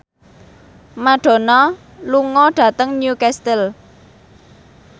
Madonna lunga dhateng Newcastle